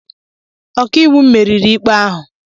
Ọkàiwu m meriri ikpe ahụ.